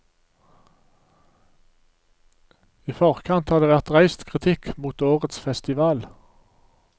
I forkant har det vært reist kritikk mot årets festival.